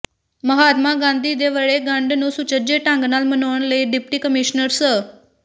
ਮਹਾਤਮਾ ਗਾਂਧੀ ਦੇ ਵਰ੍ਹੇਗੰਡ ਨੂੰ ਸੁੱਚਜੇ ਢੰਗ ਨਾਲ ਮਨਾਉਣ ਲਈ ਡਿਪਟੀ ਕਮਿਸ਼ਨਰ ਸ